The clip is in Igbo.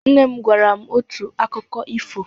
Nne m gwara m otu akụkọ ifo.